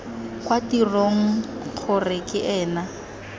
kwa tirong kgr ke ena